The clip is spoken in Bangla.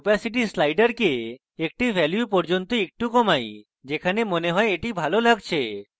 opacity slider একটি value পর্যন্ত একটু কমাই যেখানে মনে হয় এটি ভালো লাগছে